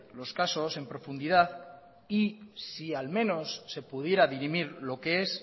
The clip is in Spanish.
los casos en profundidad y si al menos se pudiera dirimir lo que es